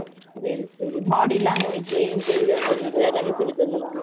செரி செரி body language , interview attend பண்றது எல்லாமே சொல்லி தந்துருவாங்க